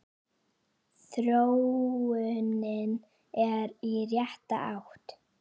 Þróunin er í rétta átt.